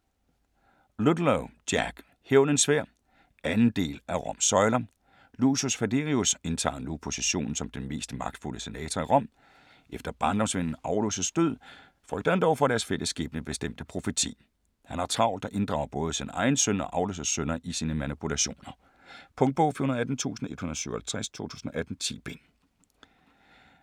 Ludlow, Jack: Hævnens sværd 2. del af Roms søjler. Lucius Falerius indtager nu positionen som den mest magtfulde senator i Rom. Efter barndomsvennen Aulus' død frygter han dog for deres fælles skæbnebestemte profeti. Han har travlt og inddrager både sin egen søn og Aulus' sønner i sine manipulationer. Punktbog 418157 2018. 10 bind.